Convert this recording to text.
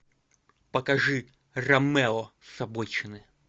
покажи ромео с обочины